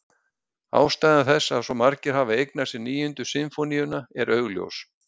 Ástæða þess að svo margir hafa eignað sér Níundu sinfóníuna er augljós.